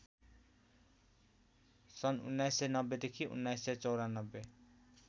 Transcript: सन् १९९० देखि १९९४